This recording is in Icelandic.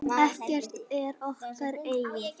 Ekkert er okkar eigið.